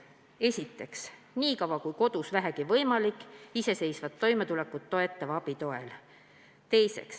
Esiteks, olla kodus nii kaua, kui vähegi võimalik iseseisvat toimetulekut toetava abi toel.